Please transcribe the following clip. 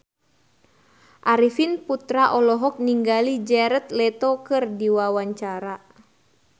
Arifin Putra olohok ningali Jared Leto keur diwawancara